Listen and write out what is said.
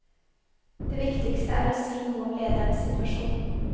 Det viktigste er å si noe om ledernes situasjon.